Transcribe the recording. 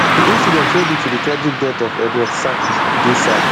di incident wey lead to di tragic death of edward sackey dey sad